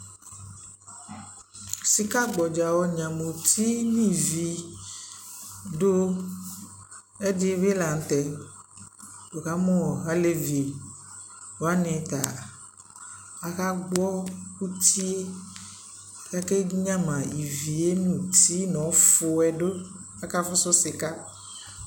Sikagbadza ɔnyama uti nʋ ivi dʋ ɛdι bι la nʋ tɛ Nikamʋ alevi wani ta akagbɔ uti yɛ kʋ akanyama uti yɛ nʋ ivi nʋ ɔfuɛ dʋ kʋ akafusu sika